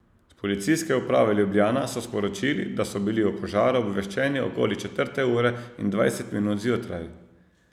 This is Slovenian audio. S Policijske uprave Ljubljana so sporočili, da so bili o požaru obveščeni okoli četrte ure in dvajset minut zjutraj.